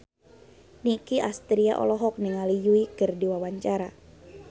Nicky Astria olohok ningali Yui keur diwawancara